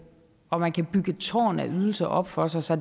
og man kan bygge et tårn af ydelser op for sig så